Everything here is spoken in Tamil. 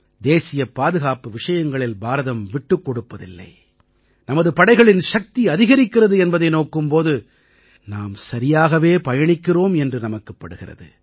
தேசியப் பாதுகாப்பு விஷயங்களில் பாரதம் விட்டுக் கொடுப்பதில்லை நமது படைகளின் சக்தி அதிகரிக்கிறது என்பதை நோக்கும் போது நாம் சரியாகவே பயணிக்கிறோம் என்று நமக்குப் படுகிறது